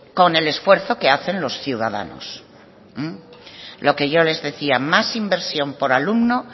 con el esfuerzo que hacen los ciudadanos lo que yo les decía más inversión por alumno